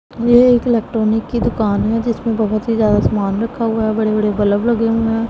ये एक इलेक्ट्रॉनिक की दुकान है जिसमें बहुत ही ज्यादा सामान रखा हुआ है बड़े बड़े बल्ब लगे हुए हैं।